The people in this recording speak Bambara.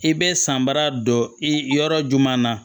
I bɛ sanbara don i yɔrɔ juman na